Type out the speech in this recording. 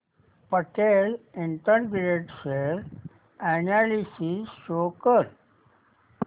Patel integrated share analysis show कर